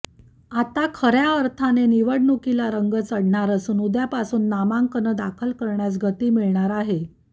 आता खऱ्या अर्थाने निवडणुकीला रंग चढणार असून उद्यापासून नामांकन दाखल करण्यास गती मिळणार आहे